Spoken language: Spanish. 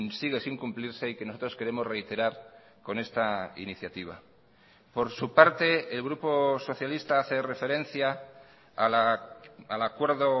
sigue sin cumplirse y que nosotros queremos reiterar con esta iniciativa por su parte el grupo socialista hace referencia al acuerdo